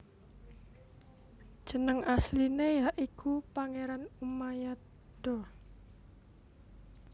Jeneng asline ya iku Pangeran Umayado